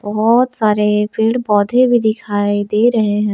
बहोत सारे पेड़ पौधे भी दिखाई दे रहे हैं।